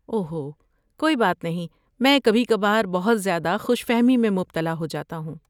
اوہو، کوئی بات نہیں! میں کبھی کبھار بہت زیادہ خوش فہمی میں مبتلا ہو جاتا ہوں۔